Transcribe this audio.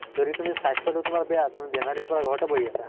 যদি তুমি স্বাস্থ্য়টো তোমাৰ বেয়া, তুমি বেমাৰি হৈ পালে ঘৰতে বহি আছা